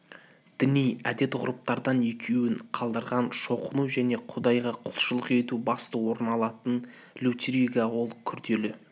діни әдет-ғұрыптардан екеуін қалдырған шоқыну және құдайға кұлшылық ету басты орын алатын литургия ол күрделі